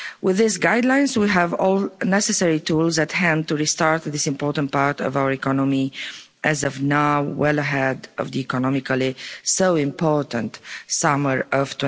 With these guidelines we have all the necessary tools at hand to restart with this important part of our economy, as of now, well ahead of the economically so important summer of